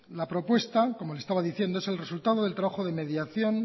la propuesta como le estaba diciendo es el resultado del trabajo de mediación